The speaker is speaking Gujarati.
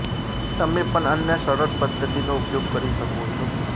તમે પણ અન્ય સરળ પધ્ધતિનો ઉપયોગ કરી શકો છો